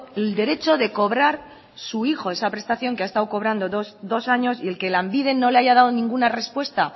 el derecho de cobrar su hijo esa prestación que ha estado cobrando dos años y el que lanbide no le haya dado ninguna respuesta